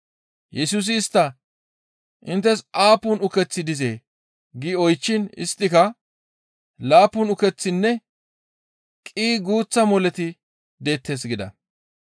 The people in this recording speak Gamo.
Yesusi istta, «Inttes aappun ukeththi dizee?» gi oychchiin isttika, «Laappun ukeththinne qii guuththa moleti deettes» gida.